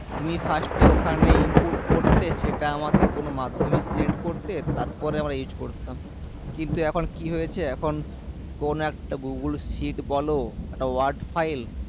তুমি first এ ওখানে input করতে সেটা আমাকে কোনো মাধ্যমে send করতে তারপরে আমরা use করতাম কিন্তু এখন কি হয়েছে এখন কোনো একটা google sheet বলো একটা word file